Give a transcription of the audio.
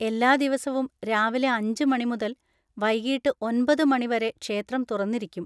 എല്ലാ ദിവസവും രാവിലെ അഞ്ച് മണി മുതൽ വൈകീട്ട് ഒന്‍പത് മണി വരെ ക്ഷേത്രം തുറന്നിരിക്കും.